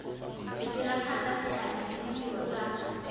diragatsa seabe le ditiro tsa